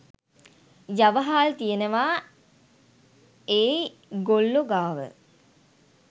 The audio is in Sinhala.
යව හාල් තියෙනවා ඒ ගොල්ලෝ ගාව.